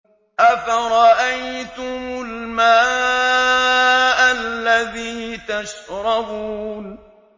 أَفَرَأَيْتُمُ الْمَاءَ الَّذِي تَشْرَبُونَ